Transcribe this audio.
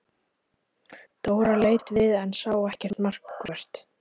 Dóra leit við en sá ekkert markvert.